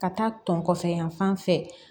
Ka taa tɔn kɔfɛ yan fan fɛ